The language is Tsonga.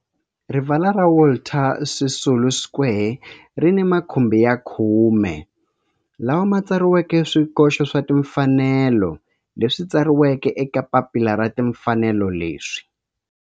Rivala ra Walter Sisulu Square ri ni makhumbi ya khume lawa ma tsariweke swikoxo swa timfanelo leswi tsariweke eka papila ra timfanelo leswi.